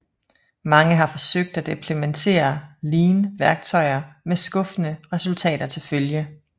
Mange har forsøgt at implementere Lean værktøjer med skuffende resultater til følge